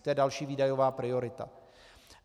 To je další výdajová priorita.